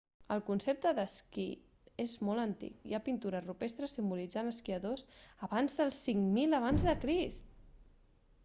el concepte de l'esquí és molt antic  hi ha pintures rupestres simbolitzant esquiadors d'abans del 5000 ac!